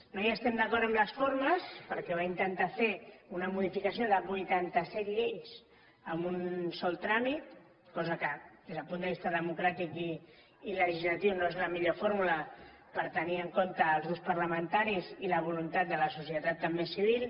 no estem d’acord en les formes perquè va intentar fer una modificació de vuitanta set lleis en un sol tràmit cosa que des del punt de vista democràtic i legislatiu no és la millor fórmula per tenir en compte els grups parlamentaris i la voluntat de la societat també civil